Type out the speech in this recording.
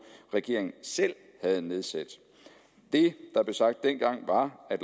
regeringen selv havde nedsat det der blev sagt dengang var at